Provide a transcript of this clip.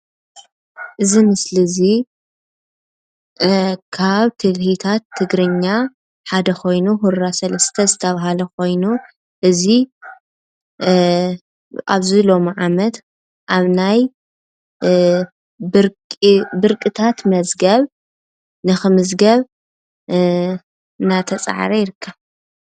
እዚ ምስሊ እዚ ካብ ትሊህታት ትግራኛ ሓደ ኮይኑ ሁራ ሰለስተ ዝተባህለ ኮይኑ እዚ አብዚ ሎሚ ዓመት አብናይ ብርቅታት መዝገብ ንክምዝገብ እናተፃዕረ ይርከብ፡፡